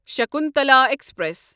Shakuntala express